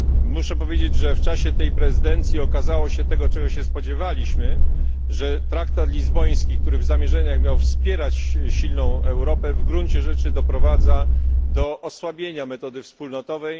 Muszę powiedzieć, że w czasie tej prezydencji okazało się to, czego się spodziewaliśmy że traktatu lizboński, który w zamierzeniach miał wspierać silną Europę, w gruncie rzeczy doprowadza do osłabienia metody wspólnotowej.